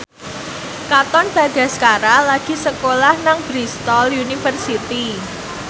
Katon Bagaskara lagi sekolah nang Bristol university